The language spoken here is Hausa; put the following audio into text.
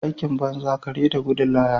Aikin banza kare da gudun laya.